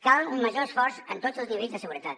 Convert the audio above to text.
cal un major esforç en tots els nivells de seguretat